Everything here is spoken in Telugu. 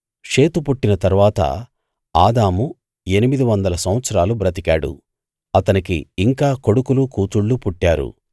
షేతు పుట్టిన తరువాత ఆదాము ఎనిమిది వందల సంవత్సరాలు బ్రతికాడు అతనికి ఇంకా కొడుకులు కూతుళ్ళు పుట్టారు